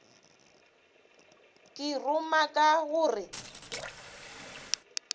ke ruma ka go re